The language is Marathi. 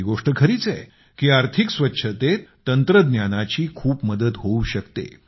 ही गोष्ट खरीच आहे की आर्थिक स्वच्छतेत तंत्रज्ञानाची खूप मदत होऊ शकते